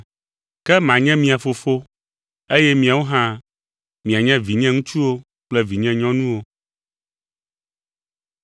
Ke, “Manye mia Fofo, eye miawo hã mianye, vinyeŋutsuwo kple vinyenyɔnuwo.”